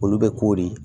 Olu bɛ k'o de